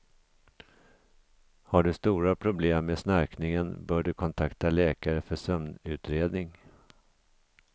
Har du stora problem med snarkningen bör du kontakta läkare för sömnutredning.